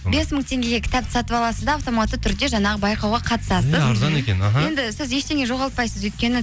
бес мың теңгеге кітапты сатып аласыз да автоматты түрде жаңағы байқауға қатысасыз е арзан екен іхі енді сіз ештеңе жоғалтпайсыз өйткені